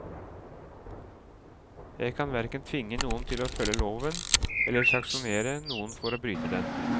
Jeg kan hverken tvinge noen til å følge loven eller sanksjonere noen for å bryte den.